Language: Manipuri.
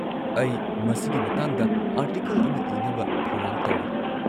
ꯑꯩ ꯃꯁꯤꯒꯤ ꯃꯇꯥꯡꯗ ꯑꯥꯔꯇꯤꯀꯜ ꯑꯃ ꯏꯅꯕ ꯊꯧꯔꯥꯡ ꯇꯧꯔꯤ꯫